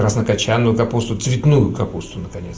краснокочанную капусту цветную капусту наконец